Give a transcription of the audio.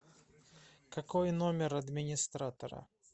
какой номер администратора